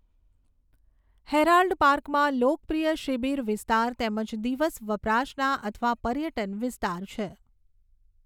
Herald પાર્કમાં લોકપ્રિય શિબિર વિસ્તાર તેમજ દિવસ વપરાશના અથવા પર્યટન વિસ્તાર છે.